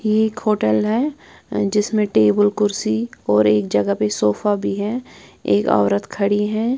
यह एक होटल है जिसमें टेबल कुर्सी और एक जगह पे सोफा भी है एक औरत खड़ी है।